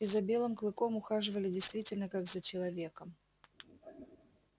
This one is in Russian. и за белым клыком ухаживали действительно как за человеком